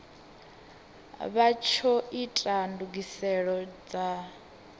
vha tsho ita ndugiselo dza